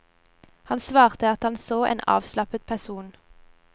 Han svarte at han så en avslappet person.